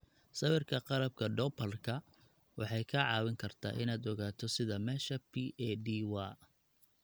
Sawirka qalabka doplarka waxay kaa caawin kartaa inaad ogaato sida meesha P.A.D. waa